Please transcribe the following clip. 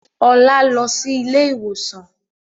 Ọlá lọ síí ilé ìwòsàn